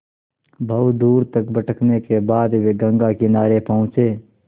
बहुत दूर तक भटकने के बाद वे गंगा किनारे पहुँचे